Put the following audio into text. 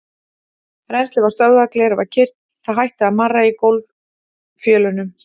Rennslið var stöðvað, glerið var kyrrt, það hætti að marra í gólffjölunum.